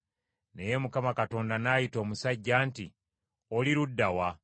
Naye Mukama Katonda n’ayita omusajja nti, “Oli ludda wa?”